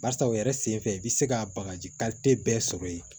Barisa u yɛrɛ sen fɛ i bi se ka bagaji bɛɛ sɔrɔ yen